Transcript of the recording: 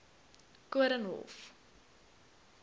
koornhof